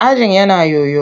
Ajin yana yoyo.